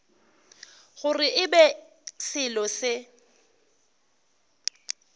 gore e be selo se